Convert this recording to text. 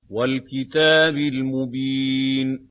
وَالْكِتَابِ الْمُبِينِ